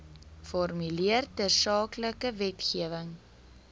formuleer tersaaklike wetgewing